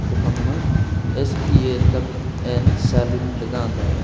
ku phang ma s p a kap and salon ley ga tai a.